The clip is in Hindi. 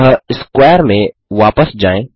अतः स्क्वैर में वापस जाएँ